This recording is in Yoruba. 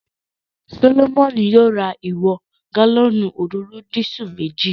Solomoni yóò ra ìwọ̀n ìwọ̀n gálọ́ọ̀nù òróró disú meji